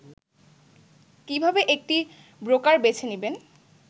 কিভাবে একটি ব্রোকার বেছে নিবেন